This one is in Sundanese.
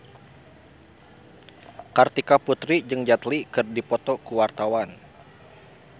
Kartika Putri jeung Jet Li keur dipoto ku wartawan